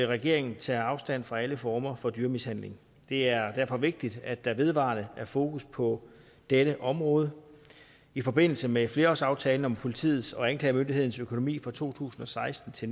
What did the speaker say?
regeringen tager afstand fra alle former for dyremishandling det er derfor vigtigt at der vedvarende er fokus på dette område i forbindelse med flerårsaftalen om politiets og anklagemyndighedens økonomi fra to tusind og seksten til